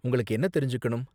உங்களுக்கு என்ன தெரிஞ்சுக்கணும்?